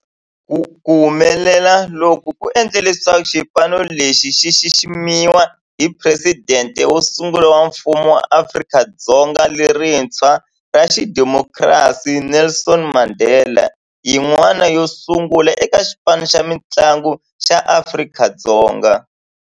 Ku humelela loku ku endle leswaku xipano lexi xi xiximiwa hi Presidente wo sungula wa Mfumo wa Afrika-Dzonga lerintshwa ra xidemokirasi, Nelson Mandela, yin'wana yo sungula eka xipano xa mintlangu xa Afrika-Dzonga.